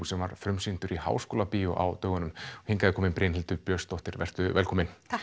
sem var frumsýndur í Háskólabíói á dögunum hingað er komin Brynhildur Björnsdóttir vertu velkomin takk